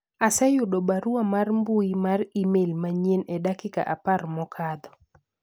aseyudo barua mar mbui mar email manyien e dakika apar mokadho